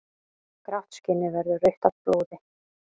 Grátt skinnið verður rautt af blóði.